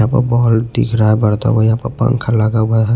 यहाँ पर बल्ब दिख रहा है बरता हुआ यहां पंका लगा हुआ है।